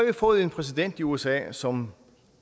vi fået en præsident i usa som